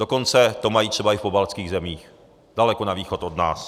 Dokonce to mají třeba i v pobaltských zemích, daleko na východ od nás.